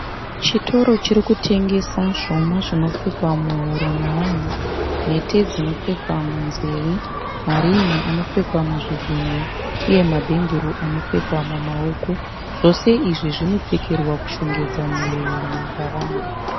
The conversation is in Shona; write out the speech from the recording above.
Chitoro chirikutengesa zvuma zvinopfekwa muhuro navanhu. Mhete dzinopfekwa munzeve. Marin'i anopfekwa muzvigunwe. Uye mabhengero anopfekwa mumaoko. Zvose izvi zvinopfekerwa kushongedza miviri yavanhu.